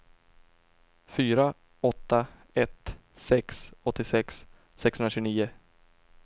fyra åtta ett sex åttiosex sexhundratjugonio